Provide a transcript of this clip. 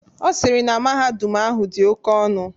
Ọ sịrị na mahadum ahụ dị oke ọnụ.